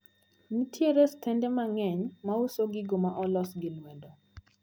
Nitiere stende mang`eny mauso gigo maolos gi lwedo.